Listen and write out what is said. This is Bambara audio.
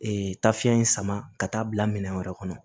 Ee tafiɲɛ in sama ka taa bila minɛn wɛrɛ kɔnɔ